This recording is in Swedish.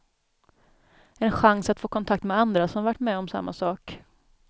En chans att få kontakt med andra som varit med om samma sak.